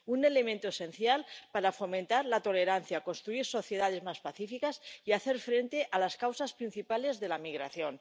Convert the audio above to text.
un elemento esencial para fomentar la tolerancia, construir sociedades más pacíficas y hacer frente a las causas principales de la migración.